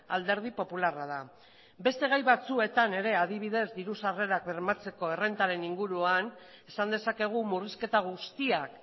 alderdi popularra da beste gai batzuetan ere adibidez diru sarrerak bermatzeko errentaren inguruan esan dezakegu murrizketa guztiak